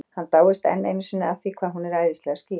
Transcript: Hann dáist enn einu sinni að því hvað hún er æðislega skýr.